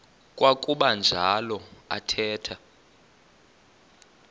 kwakuba njalo athetha